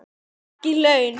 Ekki laun.